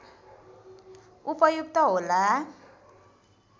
उपयुक्त होला